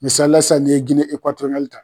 Misalila sisan nin ye Gine Ekatoriyali ta